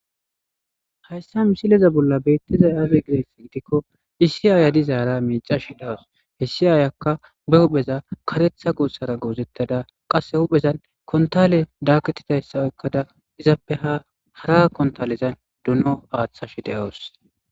Hayssa missileza bolla bettizay aaze gizayssa giddiko issi ayiya miccashe dawusu issi ayiyaka be huphpheza kareththa gossera gozetadda qasse huphphezan kontale dakketidayssa oyqqada izzappe ha haara kontalezan doono aththashe de'awusu.